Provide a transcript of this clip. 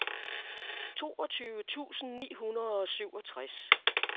toogtyve tusind ni hundrede og syvogtres